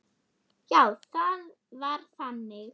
Já, það var þannig.